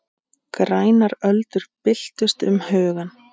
Grænar öldur byltust um hugann.